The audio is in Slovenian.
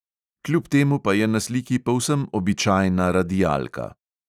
Kljub temu pa je na sliki povsem običajna radialka.